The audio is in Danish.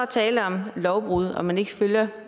tale om lovbrud og man ikke følger